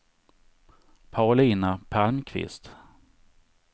Paulina Palmqvist